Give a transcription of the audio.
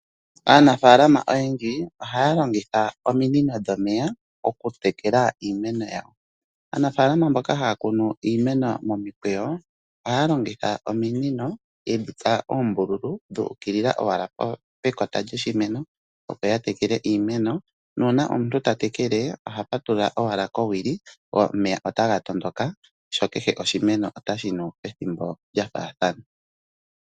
Aanafaalama oyendji ohaya longitha ominino dhomeya okutekela iimeno yawo. Aanafaalama mbaka haya kunu iimeno momikweyo ohaya longitha ominino ye dhi tsa oombululu dhuukilila owala pekota lyoshimeno opo ya tekele iimeno. Nuuna omuntu tatekele oha patulula owala kowili go omeya otaga tondoka sho kehe oshimeno otashi nu pethimbo lyafaathana.